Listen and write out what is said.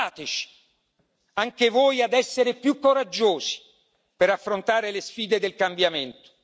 Aiutateci anche voi ad essere più coraggiosi, per affrontare le sfide del cambiamento.